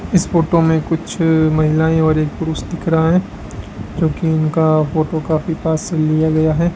इस फोटो में कुछ महिलाएं और एक पुरुष दिख रहा है क्योंकि उनका फोटो काफी पास से लिया गया है।